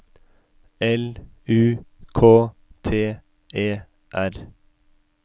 L U K T E R